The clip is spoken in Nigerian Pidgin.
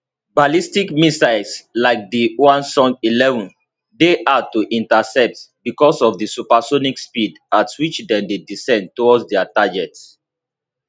ballistic missiles like di hwasong11 dey hard to intercept because of di supersonic speed at which dem dey descend towards dia target